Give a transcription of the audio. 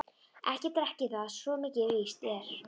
Ekki drekk ég það, svo mikið er víst.